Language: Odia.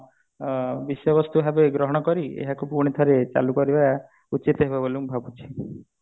ଅ ବିଷୟବସ୍ତୁ ଭାବେ ଗ୍ରହଣ କରି ଏହାକୁ ପୁଣି ଥରେ ଚାଲୁ କରିବା ଉଚିତ ହେବ ବୋଲି ମୁଁ ଭାବୁଛି